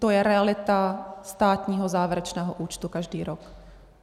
To je realita státního závěrečného účtu každý rok.